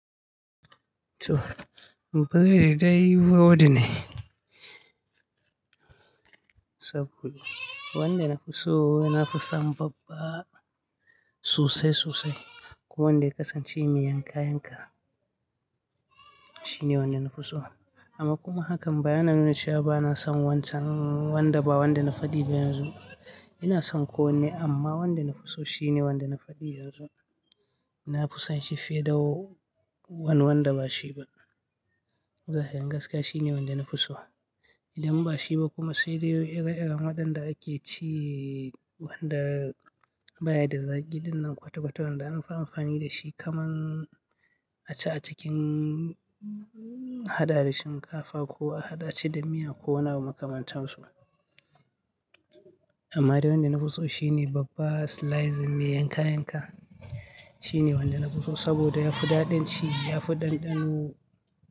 To, mu pire dai wodi ne. Saboda wanda na fi so, na fi san babba sosai sosai. Kuma wanda ya kasance me yan kayan ka, shine wanda na fi so. Amma kuma hakan ba yana nuna cewa bana son wancan wanda ba wanda na faɗi ba yanzu. Ina son ko wanne amma wanda na fi so shine wanda na faɗi yanzu. Na fi san shi fiye da w-wan wanda ba shi ba. Zahirin gaskiya shine wanda na fi so. Idan ba shi ba kuma sai dai iri-irin waɗanda ake ci wanda baya da zagi dinnan kwata-kwata wanda anfi amfani da shi kaman a ci a cikin hada da shinkafa ko a hada shi da miya ko wani abu makamantan su. Amma dai wanda na fi so shine babba slicing mai yanka yanka. Shine wanda na fi so saboda ya fi daɗin ci, ya fi ɗanɗano.